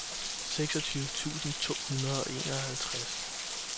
seksogtyve tusind to hundrede og enoghalvtreds